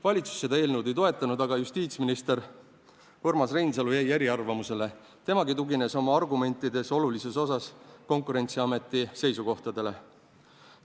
Valitsus seda eelnõu ei toetanud, aga justiitsminister Urmas Reinsalu jäi eriarvamusele, temagi tugines oma argumentides olulises osas Konkurentsiameti seisukohtadele.